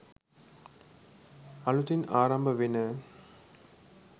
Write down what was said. අලුතින් ආරම්භ වෙන